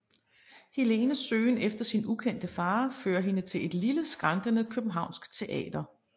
Helenes søgen efter sin ukendte far fører hende til et lille skrantende københavnsk teater